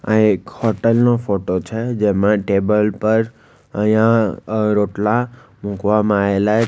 આ એક હોટલ નો ફોટો છે જેમાં ટેબલ પર અઇયા રોટલા મુકવામાં આયેલા --